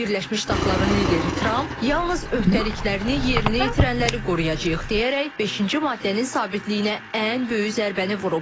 Birləşmiş Ştatların lideri Tramp yalnız öhdəliklərini yerinə yetirənləri qoruyacağıq deyərək, beşinci maddənin sabitliyinə ən böyük zərbəni vurub.